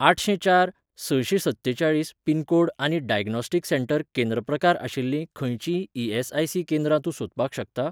आठशें चार सशें सत्तेचाळीस पिन कोड आनी डायग्नोस्टिक सेंटर केंद्र प्रकार आशिल्लीं खंयचींय ई.एस.आय.सी. केंद्रां तूं सोदपाक शकता ?